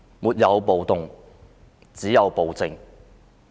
沒有暴動，只有暴政。